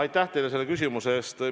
Aitäh teile selle küsimuse eest!